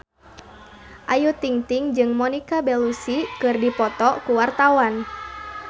Ayu Ting-ting jeung Monica Belluci keur dipoto ku wartawan